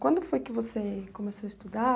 Quando foi que você começou a estudar?